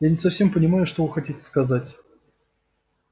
я не совсем понимаю что вы хотите сказать